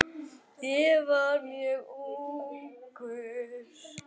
Ég var mjög ungur.